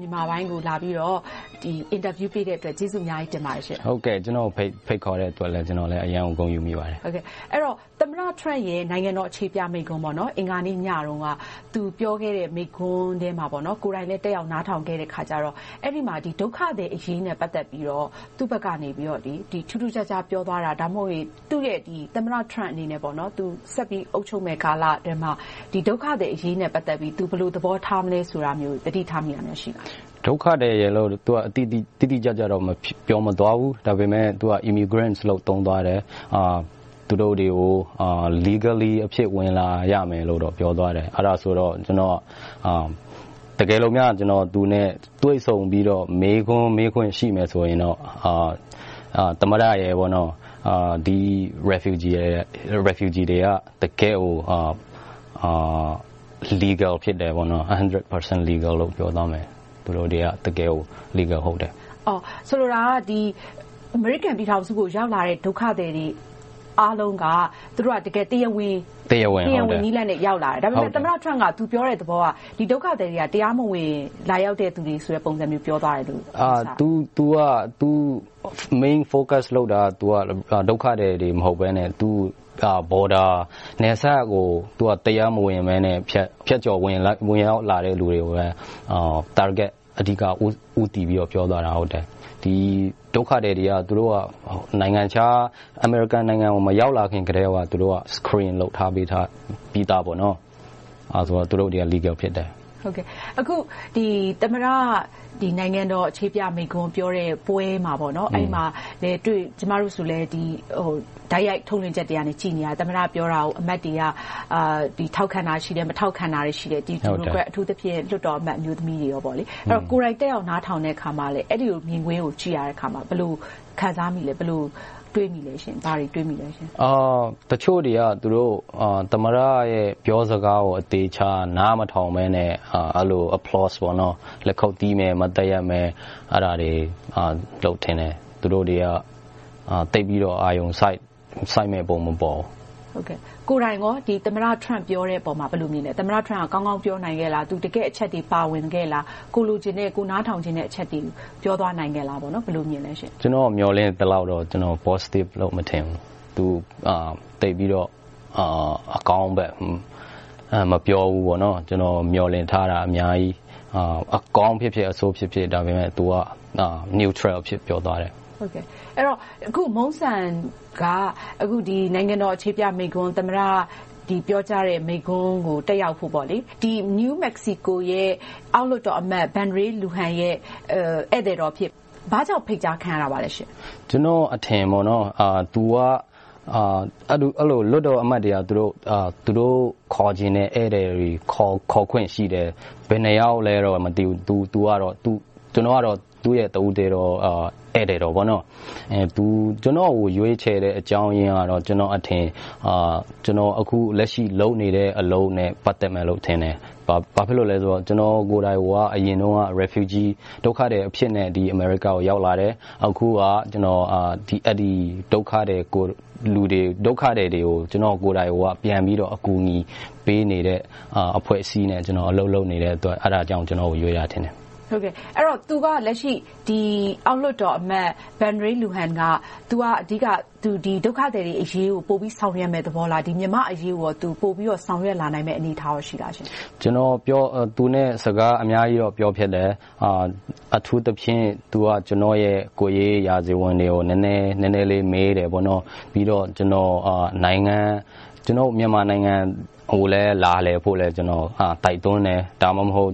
မြန်မာပိုင်းကို လာရောက်ပြီးတော့ အင်တာဗျူးပေးတဲ့အတွက် ကျေးဇူးအများကြီးတင်ပါတယ်။ ကျနော်ကို ဖိတ်ခေါ်တဲ့အတွက် ကျနော်လည်း အရမ်းကို ဂုဏ်ယူမိပါတယ်။ သမ္မတ Trump ရဲ့ နိုင်ငံတော်အခြေပြမိန့်ခွန်း အင်္ဂါနေ့ညတုန်းက သူပြောခဲ့တဲ့ မိန့်ခွန်းကို ကိုယ်တိုင်လည်း တက်ရောက်နားထောင်ခဲ့တော့ အဲဒီမှာ ဒုက္ခသည်တွေအရေးနဲ့ ပတ်သက်ပြီးတော့ သူ့ဘက်ကနေ ထူးထူးခြားခြား ပြောသွားတာ၊ ဒါမှမဟုတ် သူ့ရဲ့ သမ္မတ Trump အနေနဲ့ ဆက်ပြီးတော့ အုပ်ချုပ်တဲ့ကာလအတွင်းမှာ ဒုက္ခသည်အရေးနဲ့ ပတ်သက်ပြီး သူ ဘယ်လိုသဘောထားမလဲ ဆိုတာမျိုးကို သတိထားမိတာ ရှိပါလား။ ဒုက္ခသည်လိုတော့ တိတိကျကျ မပြောသွားပါဘူး။ ဒါပေမဲ့ Immigrants လို့ သုံးသွားတယ်။ သူတို့တွေကို Legally အဖြစ် ဝင်လာရမယ်လို့တော့ ပြောသွားတယ်။ အဲဒီမှာ ကျနော်အနေနဲ့ သူနဲ့တွေ့ဆုံပြီးတော့ မေးခွန်း မေးခွင့်ရှိမယ်ဆိုရင်တော့ သမ္မတရယ်၊ ဒုက္ခသည်တွေက တကယ့်ကို Legal တရားဝင်ဖြစ်တယ်။ ဆိုလိုတာက အမေရိကန်ပြည်ထောင်စုကို ရောက်လာကြတဲ့ ဒုက္ခသည်တွေ အားလုံးက သူတို့ဟာ တရားဝင်နည်းလမ်းနဲ့ ရောက်လာကြတယ်။ ဒါပေမဲ့ သမ္မတ Trump က သူပြောတဲ့သဘောက ဒီဒုက္ခသည်တွေက တရားမဝင် လာရောက်ကြတဲ့ပုံစံမျိုး ပြောသွားခဲ့တယ်။ သူ Main focus အဓိကပြောဆိုတာက ဒုက္ခသည်တွေ မဟုတ်ဘဲနဲ့ Border နယ်စပ်ကနေ တရားမဝင် ဖြတ်ကျော်လာကြတဲ့ လူတွေကို အဓိက target ဦးတည်ပြီးတော့ ပြောသွားတာဖြစ်တယ်။ ဒုက္ခသည်တွေက အမေရိကန်နိုင်ငံကို မရောက်လာခင်ကတည်းက နိုင်ငံခြားမှာ Screen စစ်ဆေးလုပ်ပြီသား။ ဒါကြောင့် သူတို့တွေက Legal တရားဝင် ဖြစ်တယ်။ သမ္မတ နိုင်ငံတော်အခြေပြမိန့်ခွန်းပြောတဲ့ပွဲမှာ - ကျမတို့လည်း တိုက်ရိုက်ထုတ်လွှင့်ချက်တွေကို ကြည့်နေခဲ့တယ် - သမ္မတပြောတာကို အမတ်တွေက ထောက်ခံတာရှိတယ်။ မထောက်ခံတာ ရှိတယ်။ အထူးသဖြင့် ဒီမိုကရက်၊ အမျိုးသမီးလွှတ်တော်အမတ်တွေ အပါအဝင်ပေါ့။ ကိုယ်တိုင်တက်ရောက် နားထောင်တဲ့အခါမှာ အဲဒီမြင်ကွင်းကို ကြည့်ရတဲ့အခါမှာ ဘယ်လိုခံစားမိသလဲ။ ဘယ်လိုတွေးမိလဲ။ တချို့တွေက သမ္မတရဲ့ ပြောစကားကို အသေအချာ နားမထောင်ဘဲနဲ့ အဲဒီလို လက်ခုပ်တီးမယ်။ မတ်တပ်ရပ်မယ်။ အဲဒါတွေလုပ်ကြတယ်။ သူတို့တွေက သိပ်ပြီးတော့ အာရုံစိုက်မယ့်ပုံ မပေါ်ဘူး။ ကိုယ်တိုင်ကော သမ္မတ Trump ပြောတဲ့အပေါ် ဘယ်လိုမြင်လဲ။ သမ္မတ Trump ကောင်းကောင်းပြောနိုင်ခဲ့လား။ တကယ့်အချက်အလက်တွေ ပါဝင်ခဲ့လား။ ကိုယ်လိုချင်တဲ့၊ ကိုယ်နားထောင်ချင်တဲ့ အချက်တွေကို ပြောသွားနိုင်ခဲ့လား။ ဘယ်လိုမြင်လဲ။ ကျနော်မျှော်လင့်သလောက်တော့ Positive လို့တော့ မထင်ဘူး။ သူက သိပ်ပြီးတော့ အကောင်းဘက် မပြောဘူး။ ကျနော် မျှော်လင့်ထားတာ အများကြီး။ အကောင်းဖြစ်ဖြစ်၊ အဆိုးဖြစ်ဖြစ် - ဒါပေမဲ့ သူက Neutral အဖြစ် ပြောသွားတယ်။ အခု Mungsan က နိုင်ငံတော်အခြေပြမိန့်ခွန်း သမ္မတ ပြောကြားတဲ့မိန့်ခွန်းကို တက်ရောက်ဖို့အတွက် New Mexico ပြည်နယ်အောက်လွှတ်တော်အမတ် Ben Ray Luján ရဲ့ ဧည့်သည်တော်အဖြစ် ဘာကြောင့်ဖိတ်ကြားခံရတာလဲ။ ကျနော့်အထင်က လွှတ်တော်အမတ်တွေက သူတို့ခေါ်ချင်တဲ့ ဧည့်သည်တွေကို ခေါ်ခွင့်ရှိတယ်။ ဘယ်နှစ်ယောက်လဲတော့ မသိဘူး။ ကျနော်ကတော့ သူ့ရဲ့တဦးတည်းသော ဧည့်သည်တော် ဖြစ်တယ်။ သူ ကျနော်ကို ရွေးချယ်ရခြင်းအကြောင်းရင်းကတော့ ကျနော့်အထင် ကျနော်က အခုလက်ရှိ လုပ်နေတဲ့အလုပ်နဲ့ ပတ်သက်မယ်လို့ထင်တယ်။ ဘာဖြစ်လို့လဲဆိုတော့ ကျနော်ကိုယ်တိုင်ကိုက အရင်တုန်းက ဒုက္ခသည်အဖြစ်နဲ့ အမေရိကန်နိုင်ငံကို ရောက်လာခဲ့တယ်။ အခုက ဒုက္ခသည်တွေကို ကျနော်ကိုယ်တိုင် ပြန်ပြီးတော့ ကူညီပေးနေတဲ့ အဖွဲ့အစည်းနဲ့ အလုပ်လုပ်နေတဲ့အတွက် အဲဒါကြောင့် ကျနော့်ကို ရွေးတာထင်တယ်။ သူက လက်ရှိ အောက်လွှတ်တော်အမတ် Ben Ray Luján က သူက ဒုက္ခသည်တွေအရေးကို ပိုပြီးဆောင်ရွက်မယ့်သဘောလား။ မြန်မာ့အရေးကို သူ ပိုပြီးတော့ ဆောင်ရွက်လာနိုင်မယ့် အနေအထားရှိလား။ ကျနော် သူနဲ့ စကားအများကြီးတော့ ပြောဖြစ်တယ်။ အထူးသဖြင့် သူက ကျနော့်ရဲ့ ကိုယ်ရေးရာဇဝင်တွေကို နည်းနည်းလေး မေးတယ်။ ပြီးတော့ ကျနော်ကို မြန်မာနိုင်ငံကိုလည်း လာလည်ဖို့ကို ကျနော်က တိုက်တွန်းတယ်။ ဒါမှမဟုတ်